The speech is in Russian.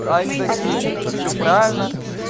они такие да всё правильно